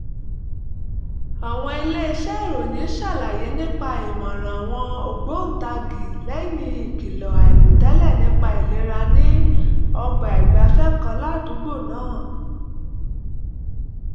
àwọn iléeṣẹ́ ìròyìn ṣàlàyé nípa ìmọ̀ràn àwọn ògbóǹtagì lẹ́yìn ìkìlọ̀ àìròtẹ́lẹ̀ nípa ìlera ní ọgbà ìgbafẹ́ kan ládùúgbò náà